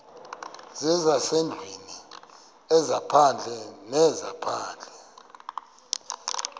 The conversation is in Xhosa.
zezasendlwini ezaphandle zezaphandle